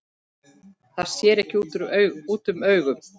Það sér ekki útúr augum.